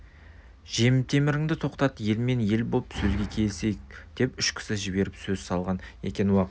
жемтеміріңді тоқтат ел мен ел боп сөзге келісейік деп үш кісі жіберіп сөз салған екен уақ